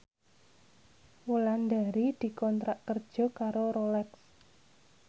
Wulandari dikontrak kerja karo Rolex